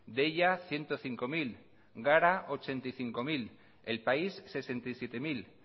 deia ciento cinco mil gara laurogeita bost mila el país sesenta y siete mil